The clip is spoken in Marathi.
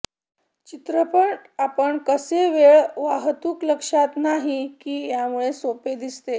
चित्रपट आपण कसे वेळ वाहतूक लक्षात नाही की त्यामुळे सोपे दिसते